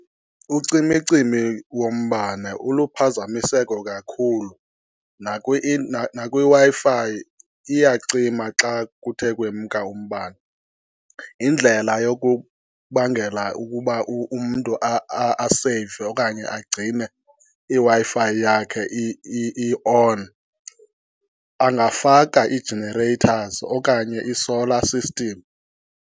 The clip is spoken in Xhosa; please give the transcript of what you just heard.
Ucimicimi wombane uluphazamiseko kakhulu, nakwiW-Fi iyacima xa kuthe kwemka umbane. Indlela yokubangela ukuba umntu aseyive okanye agcine iWi-Fi yakhe i-on angafaka ii-generators okanye i-solar system.